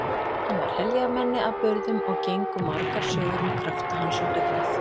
Hann var heljarmenni að burðum og gengu margar sögur um krafta hans og dugnað.